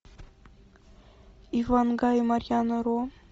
ивангай и марьяна ро